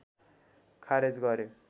खारेज गर्‍यो